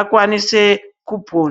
akwanise kupona